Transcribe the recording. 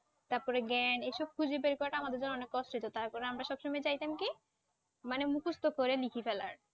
তারপর জ্ঞান এসব খুঁজে বের করা আমাদের জন্য কষ্ট হতো তারপর আমরা সবসময় চাইতাম কি মানে মুখস্ত করে লিখে ফেলার